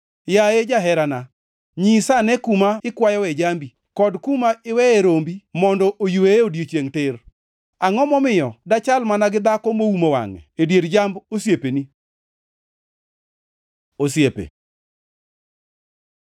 Yaye jaherana, nyisane kuma ikwayoe jambi kod kuma iweye rombi mondo oyweyee odiechiengʼ tir. Angʼo momiyo dachal mana gi dhako moumo wangʼe e dier jamb osiepeni? Osiepe